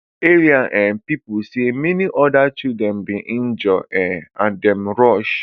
area um pipo say many oda children bin injure um and dem rush